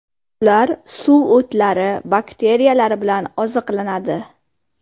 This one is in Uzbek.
Ular suv o‘tlari, bakteriyalar bilan oziqlanadi.